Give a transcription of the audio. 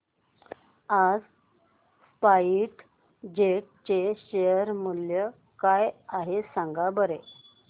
आज SpiceJet चे share मूल्य काय आहे सांगा बरं